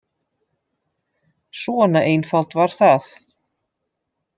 Svona einfalt var það.